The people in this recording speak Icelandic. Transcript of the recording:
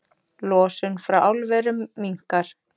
Losun frá álverum minnkar